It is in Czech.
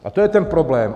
A to je ten problém.